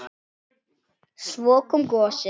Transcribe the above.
Svo kom gosið!